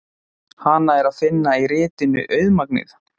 Hana er að finna í ritinu Auðmagnið.